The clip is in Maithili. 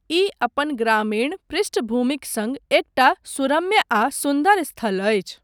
ई अपन ग्रामीण पृष्ठभूमिक सङ्ग एकटा सुरम्य आ सुन्दर स्थल अछि।